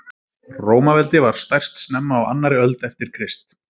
rómaveldi var stærst snemma á annarri öld eftir krist